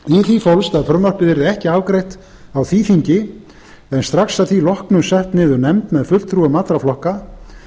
því fólst að frumvarpið yrði ekki afgreitt á því þingi en strax að því loknu sett niður nefnd með fulltrúum allra flokka